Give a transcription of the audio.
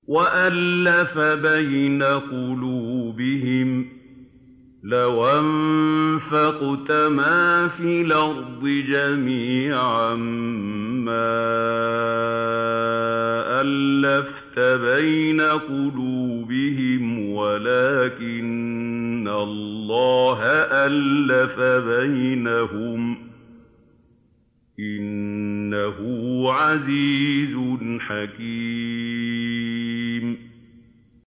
وَأَلَّفَ بَيْنَ قُلُوبِهِمْ ۚ لَوْ أَنفَقْتَ مَا فِي الْأَرْضِ جَمِيعًا مَّا أَلَّفْتَ بَيْنَ قُلُوبِهِمْ وَلَٰكِنَّ اللَّهَ أَلَّفَ بَيْنَهُمْ ۚ إِنَّهُ عَزِيزٌ حَكِيمٌ